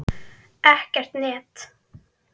Ekkert net.